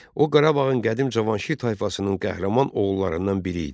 O Qarabağın qədim Cavanşir tayfasının qəhrəman oğullarından biri idi.